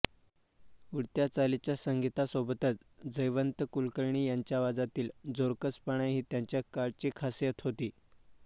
उडत्या चालीच्या संगीतासोबतच जयवंत कुलकर्णी यांच्या आवाजातील जोरकसपणा ही त्यांच्या काळची खासियत होती